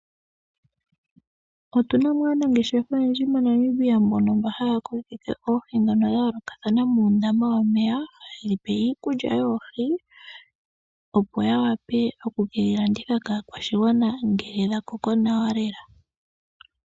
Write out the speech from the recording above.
Otuna mo aanangeshefa oyendji moNamibia mbono mba haya kokitha oohi dhono dhayoolokathana muundama womeya, hadhi pewa iikulya yoohi opo yawape okukedhi landitha kaakwashigwana ngele dhakoko nawa lela.